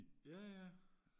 jaja